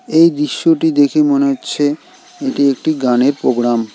এই দৃশ্যটি দেখে মনে হচ্ছে এটি একটি গানের প্রোগ্রাম ।